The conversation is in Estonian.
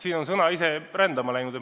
Siin on sõna ise rändama läinud.